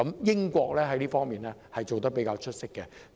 英國在這方面做得比較出色。